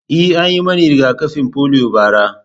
E, an yi mani riga-kafin polio bara.